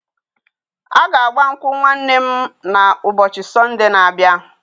A ga-agba nkwụ nwanne m na ụbọchị Sonde n'abia